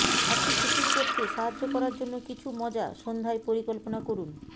আপনি শিথিল করতে সাহায্য করার জন্য কিছু মজা সন্ধ্যায় পরিকল্পনা করুন